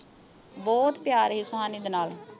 ਬਹੁਤ ਪਿਆਰ ਸੀ ਸੁਹਾਨੀ ਦੇ ਨਾਲ